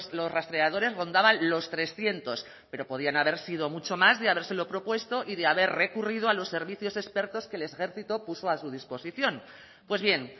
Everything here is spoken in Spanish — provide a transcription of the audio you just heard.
los rastreadores rondaban los trescientos pero podían haber sido muchos más de habérselo propuesto y de haber recurrido a los servicios expertos que el ejército puso a su disposición pues bien